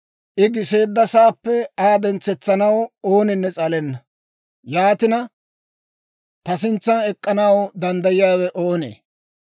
I giseeddasaappe Aa dentsetsanaw ooninne s'alenna; yaatina, ta sintsan ek'k'anaw danddayiyaawe oonee?